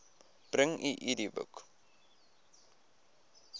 bring u idboek